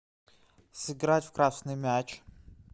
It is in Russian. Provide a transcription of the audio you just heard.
сыграть в красный мяч